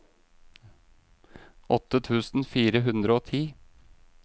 åtte tusen fire hundre og ti